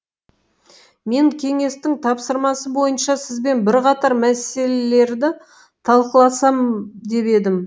мен кеңестің тапсырмасы бойынша сізбен бірқатар мәселелерді талқыласам деп едім